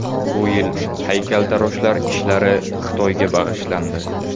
Bu yil haykaltaroshlar ishlari Xitoyga bag‘ishlandi.